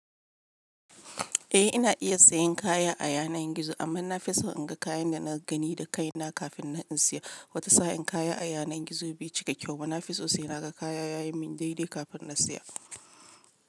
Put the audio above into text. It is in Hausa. Eh, ina iya sayan kaya a yanar gizo amma na fi so in ga kayan da na gani da kai na kafin in siya. Wata sa'in kaya a yanar gizo bai cika kyau ba. Na fi so sai na ga kaya yayin mun daidai kafin na siya.